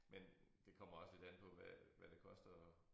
Men det kommer også lidt an på hvad hvad det koster at